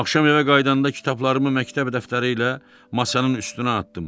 Axşam evə qayıdanda kitablarımı məktəb dəftəri ilə masanın üstünə atdım.